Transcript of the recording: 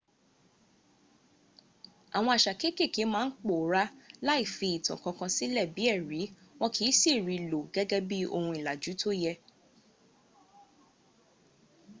àwọn àṣà kéèké ma ń pòórá lá ì fi ìtàn kankan sílẹ̀ bí ẹ̀rí wọn kì í si ri í lò gẹ́gẹ́ bí ohun ìlàjú tó yẹ